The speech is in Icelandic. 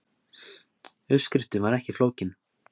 Uppskriftin var ekki flókin